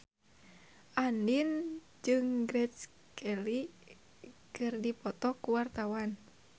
Andien jeung Grace Kelly keur dipoto ku wartawan